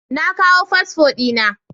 Na kawo fasfo dina